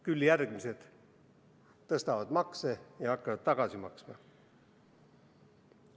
Küll järgmised tõstavad makse ja hakkavad tagasi maksma.